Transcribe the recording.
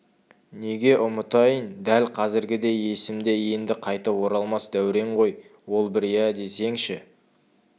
неге ұмытайын дәл қазіргідей есімде енді қайтып оралмас дәурен ғой ол бір иә десеңші